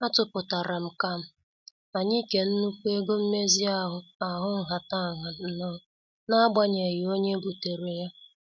Atuputaram ka anyị kee nnukwu ego mmezi ahụ ahụ nhataha n' n'agbanyeghị onye butere ya.